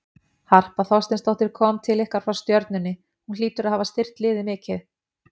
Harpa Þorsteinsdóttir kom til ykkar frá Stjörnunni, hún hlýtur að hafa styrkt liðið mikið?